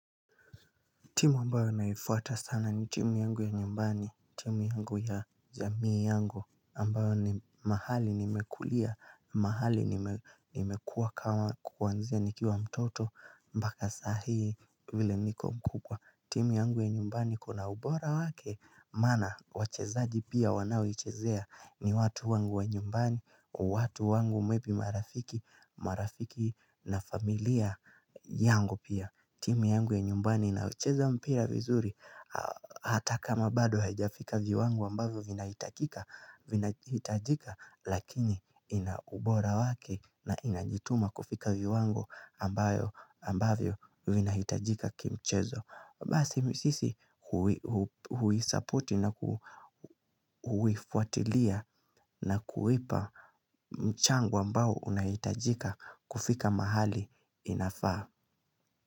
Timu ambayo naifuata sana ni timu yangu ya nyumbani, timu yangu ya jamii yangu ambayo ni mahali nimekulia, mahali nimekuwa kama kuwanzia nikiwa mtoto mpaka saa hii vile niko mkubwa. Timu yangu ya nyumbani kuna ubora wake maana wachezaji pia wanaoichezea ni watu wangu ya nyumbani, watu wangu mwepi marafiki, marafiki na familia yangu pia. Timu yangu ya nyumbani inayocheza mpira vizuri hata kama bado haijafika viwango ambavyo vinahitajika hitajika lakini ina ubora wake na inajituma kufika viwango ambayo ambavyo vina hitajika kimchezo. Basi sisi hui-support na huifuatilia na kuipa mchango ambao unahitajika kufika mahali inafaa.